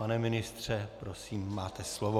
Pane ministře, prosím, máte slovo.